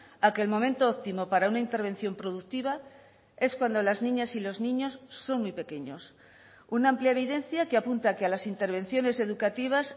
a que el momento óptimo para una intervención productiva es cuando las niñas y los niños son muy pequeños una amplia evidencia que apunta que a las intervenciones educativas